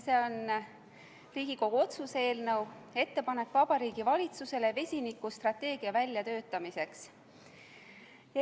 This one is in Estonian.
See on Riigikogu otsuse "Ettepanek Vabariigi Valitsusele vesinikustrateegia väljatöötamiseks" eelnõu.